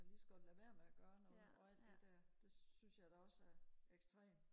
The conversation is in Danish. kan man lige så godt lade være med at gøre noget og alt det der det synes jeg da også er ekstremt